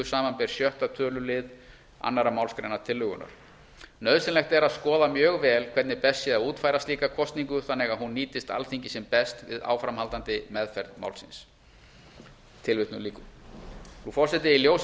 samanber sjöttu tölulið annarri málsgrein tillögunnar nauðsynlegt er að skoða mjög vel hvernig best sé að útfæra slíka kosningu þannig að hún nýtist alþingi sem best við áframhaldandi meðferð málsins frú forseti í ljósi